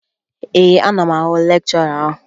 Ee, ana m ahụ lekchọra ahụ